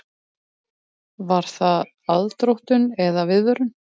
Var það aðdróttun eða viðvörun?